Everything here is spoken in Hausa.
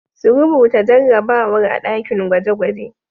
Su rubuta jarrabawar a ɗakin gwaje-gwaje.